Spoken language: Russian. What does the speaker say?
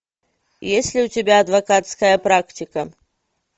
есть ли у тебя адвокатская практика